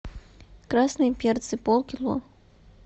красные перцы полкило